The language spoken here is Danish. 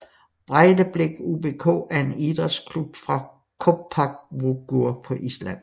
Breiðablik UBK er en idrætsklub fra Kópavogur på Island